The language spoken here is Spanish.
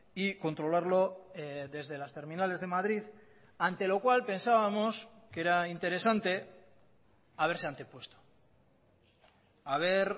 y controlarlo desde las terminales de madrid ante lo cual pensábamos que era interesante haberse antepuesto haber